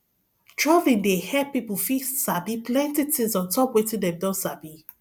traveling dey help pipo fit sabi plenty tins ontop wetin dem don sabi